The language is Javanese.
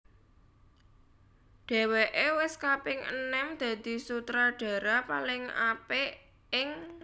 Dhèwèké wis kaping enem dadi Sutradara paling apik ing